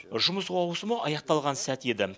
жұмыс ауысымы аяқталған сәт еді